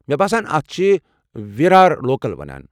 مےٚ باسان اتھ چھِ وِرار لوکل ونان۔